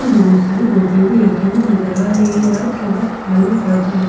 बहुत सारी बोतले भी रखी हुई नजर आ रही है रात का वक्त मालूम पड़ता है।